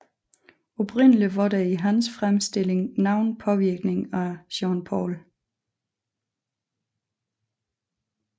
Oprindelig var der i hans fremstilling nogen påvirkning af Jean Paul